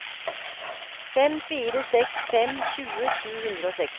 fem fire seks fem tjue sju hundre og seksti